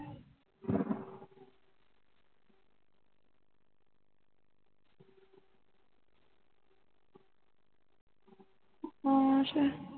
ਹੋਰ